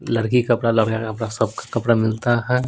लड़की कपड़ा लड़का कपड़ा सबका कपड़ा मिलता है।